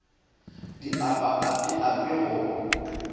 di apa api api go